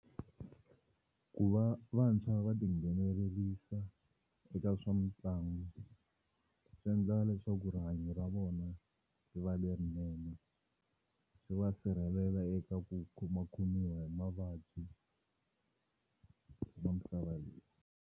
Ku va vantshwa va tinghenelerisa eka swa mitlangu swi endla leswaku rihanyo ra vona ri va lerinene swi va sirhelela eka ku khomakhomiwa hi mavabyi ma misava leyi.